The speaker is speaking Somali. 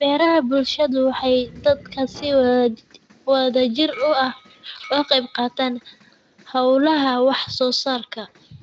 Beeraha bulshadu waxay dadka si wadajir ah uga qayb qaataan hawlaha wax soo saarka.